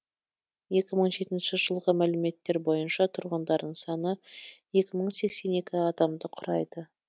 екі мың жетінші жылғы мәліметтер бойынша тұрғындарының саны екі мың сексен екі адамды құрайды